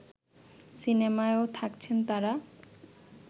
সিনেমায়ও থাকছেন তারা